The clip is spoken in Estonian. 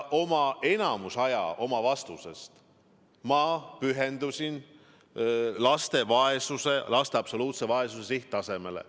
Enamiku aja oma vastusest ma pühendasin laste absoluutse vaesuse sihttasemetele.